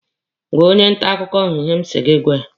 Gwaa onye nta akụkọ ahụ ihe m sị gị gwa ya!